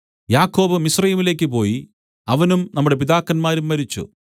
യാക്കോബ് മിസ്രയീമിലേക്ക് പോയി അവനും നമ്മുടെ പിതാക്കന്മാരും മരിച്ചു